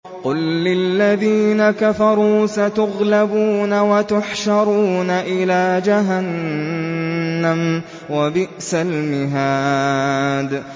قُل لِّلَّذِينَ كَفَرُوا سَتُغْلَبُونَ وَتُحْشَرُونَ إِلَىٰ جَهَنَّمَ ۚ وَبِئْسَ الْمِهَادُ